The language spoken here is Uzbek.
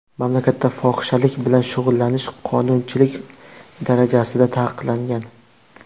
Mamlakatda fohishalik bilan shug‘ullanish qonunchilik darajasida taqiqlangan.